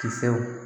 Kisɛw